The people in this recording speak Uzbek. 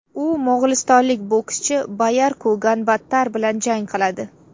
U mo‘g‘ulistonlik bokschi Bayarku Ganbaatar bilan jang qiladi.